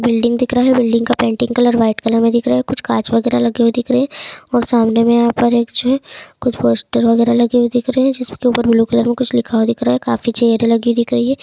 Building दिख रहा है। बिल्डिंग की पेंटिंग व्हाइट कलर में दिख रही है। कुछ कांच वगैरह लगे दिख रहे हैं और सामने में यहाँ पर एक जो है कुछ पोस्टर वगेरा लगे हुए दिख रहे हैं। जिसके ऊपर ब्लू कलर का कुछ लिखा हुआ दिख रहा है। काफी चेहरे लगे दिख रहे हैं।